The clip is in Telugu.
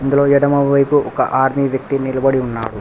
ఇందులో ఎడమవైపు ఒక ఆర్మీ వ్యక్తి నిలబడి ఉన్నాడు.